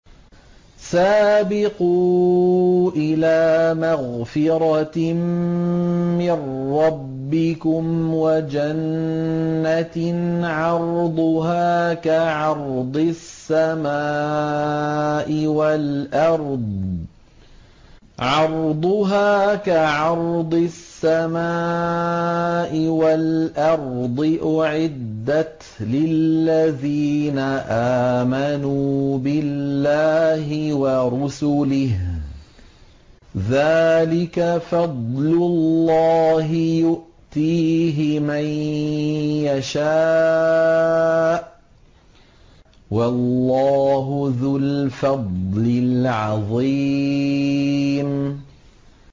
سَابِقُوا إِلَىٰ مَغْفِرَةٍ مِّن رَّبِّكُمْ وَجَنَّةٍ عَرْضُهَا كَعَرْضِ السَّمَاءِ وَالْأَرْضِ أُعِدَّتْ لِلَّذِينَ آمَنُوا بِاللَّهِ وَرُسُلِهِ ۚ ذَٰلِكَ فَضْلُ اللَّهِ يُؤْتِيهِ مَن يَشَاءُ ۚ وَاللَّهُ ذُو الْفَضْلِ الْعَظِيمِ